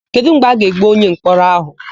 Kedụ mgbe a ga-egbu onyemkpọrọ áhụ̀?